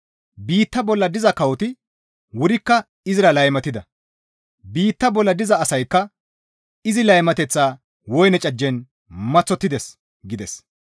Biitta bolla diza kawoti wurikka izira laymatida; biitta bolla diza asaykka izi laymateththa woyne cajjen maththottides» gides.